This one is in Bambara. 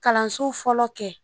Kalanso fɔlɔ kɛ